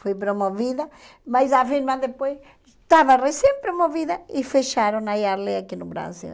Fui promovida, mas a firma depois estava recém-promovida e fecharam a Yardley aqui no Brasil.